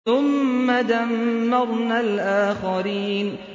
ثُمَّ دَمَّرْنَا الْآخَرِينَ